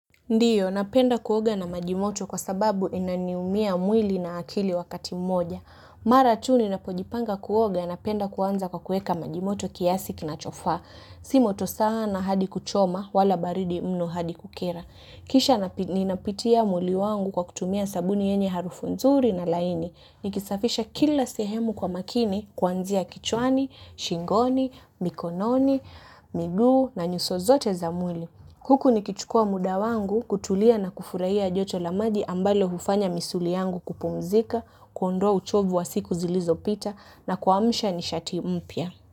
Ndiyo, napenda kuoga na maji moto kwa sababu inaniumia mwili na akili wakati mmoja. Mara tu ninapojipanga kuoga napenda kuanza kwa kuweka maji moto kiasi kinachofaa. Si moto sana hadi kuchoma, wala baridi mno hadi kukera. Kisha ninapitia mwili wangu kwa kutumia sabuni yenye harufu nzuri na laini. Nikisafisha kila sehemu kwa makini, kwanzia kichwani, shingoni, mikononi, miguu na nyuso zote za mwili. Huku nikichukua muda wangu kutulia na kufurahia joto la maji ambalo hufanya misuli yangu kupumzika, kuondoa uchovu wa siku zilizopita na kwa msha ni shati mpya.